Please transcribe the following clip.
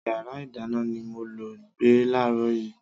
Yàrá ìdáná ni mo lọ gbé láàrọ̀ yìí.